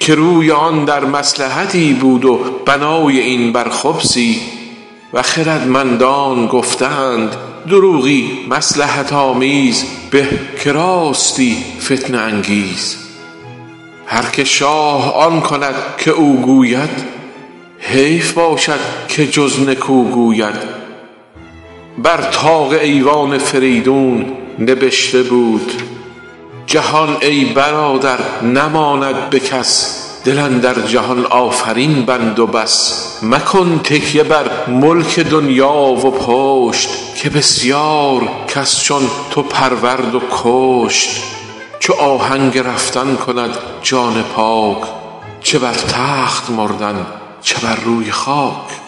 که روی آن در مصلحتی بود و بنای این بر خبثی و خردمندان گفته اند دروغی مصلحت آمیز به که راستی فتنه انگیز هر که شاه آن کند که او گوید حیف باشد که جز نکو گوید بر طاق ایوان فریدون نبشته بود جهان ای برادر نماند به کس دل اندر جهان آفرین بند و بس مکن تکیه بر ملک دنیا و پشت که بسیار کس چون تو پرورد و کشت چو آهنگ رفتن کند جان پاک چه بر تخت مردن چه بر روی خاک